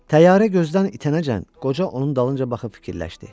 Təyyarə gözdən itənəcən qoca onun dalınca baxıb fikirləşdi.